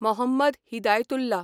Mohammad Hidayatullah